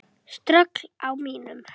Ströggl á mínum?